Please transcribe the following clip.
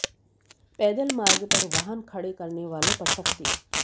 पैदल मार्ग पर वाहन खड़े करने वालों पर सख्ती